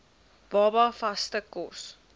baba vaste kos